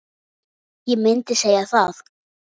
Já, ég myndi segja það.